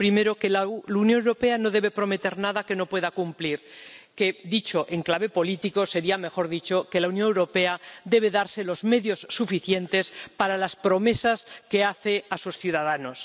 Primera, que la Unión Europea no debe prometer nada que no pueda cumplir, lo cual en clave política sería, mejor dicho, que la Unión Europea debe darse los medios suficientes para las promesas que hace a sus ciudadanos.